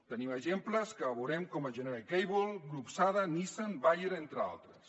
tenim exemples que veurem com general cable grup sada nissan bayer entre altres